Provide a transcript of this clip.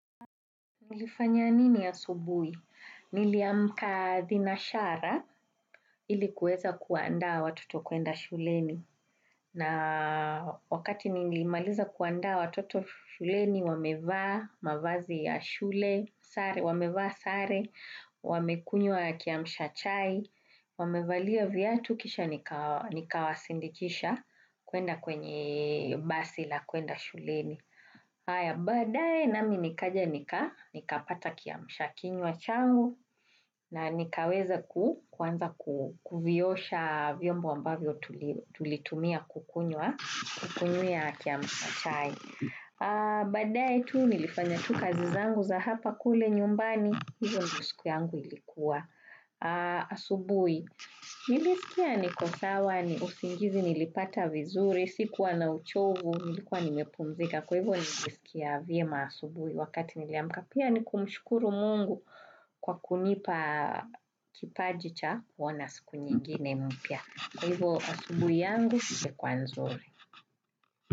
Nilifanya nini asubuhi? Niliamka thinashara ilikuweza kuanda watoto kuenda shuleni. Na wakati nilimaliza kuanda watoto shuleni, wamevaa mavazi ya shule, wamevaa sare, wamekunyua kiamsha chai, wamevalia viatu kisha nikawasindikisha kuenda kwenye basi la kuenda shuleni. Haya badae na mimi nikaja nika, nikapata kiamusha kinywa changu na nikaweza kuanza kuviyosha vyombo ambavyo tulitumia kukunywa kiamusha chai. Badae tu nilifanya tu kazi zangu za hapa kule nyumbani, hivyo ndio siku yangu ilikuwa asubui. Nilisikia niko sawa ni usingizi nilipata vizuri, sikuwa na uchovu, nilikuwa nimepumzika Kwa hivo nilisikia viema asubui wakati niliamka Pia niku mshukuru mungu kwa kunipa kipajicha kuwana siku nyingine mpya Kwa hivo asubui yangu ilikuwa nzuri.